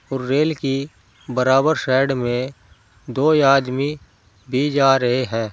और रेल की बराबर साइड में दो आदमी भी जा रहे हैं।